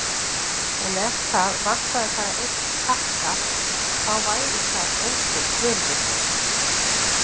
En ef það vantaði bara einn takka, þá væri það einskisvirði.